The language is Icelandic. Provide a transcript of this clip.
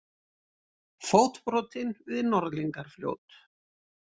Fótbrotinn við Norðlingafljót